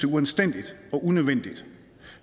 uanstændigt og unødvendigt